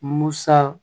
Musa